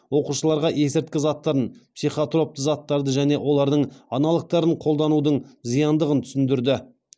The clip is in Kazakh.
оқушыларға есірткі заттарын психотроптық заттарды және олардың аналогтарын қолданудың зияндығын түсіндірді